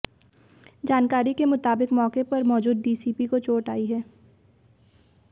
जानकारी के मुताबिक मौके पर मौजूद डीसीपी को चोट आई है